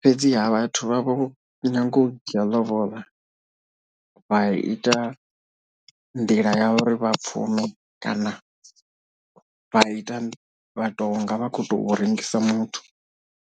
fhedziha vhathu vhavho nyaga u dzhia lobola vha ita nḓila ya uri vha pfhume kana vha ita vha to unga vha kho to rengisa muthu.